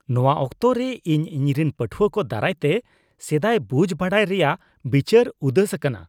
ᱱᱚᱶᱟ ᱚᱠᱛᱚᱨᱮ, ᱤᱧ ᱤᱧᱨᱮᱱ ᱯᱟᱹᱴᱷᱩᱣᱟᱹ ᱠᱚ ᱫᱟᱨᱟᱭ ᱛᱮ ᱥᱮᱫᱟᱭ ᱵᱩᱡ ᱵᱟᱰᱟᱭ ᱨᱮᱭᱟᱜ ᱵᱤᱪᱟᱹᱨ ᱩᱫᱟᱹᱥ ᱟᱠᱟᱱᱟ ᱾